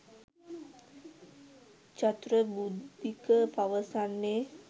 චතුර බුද්ධික පවසන්නේ.